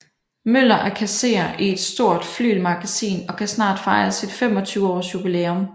Møller er kasserer i et stort flygelmagasin og kan snart fejre sit 25 års jubilæum